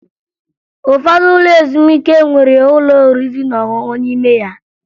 Ụfọdụ ụlọ ezumike nwere ụlọ oriri na ọṅụṅụ n'ime ya